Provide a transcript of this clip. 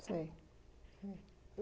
Sei